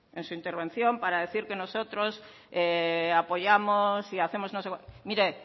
en su intervención para decir que nosotros apoyamos y hacemos mire